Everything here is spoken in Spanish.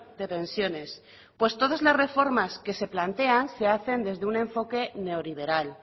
de pensiones pues todas las reformas que se plantean se hacen desde un enfoque neoliberal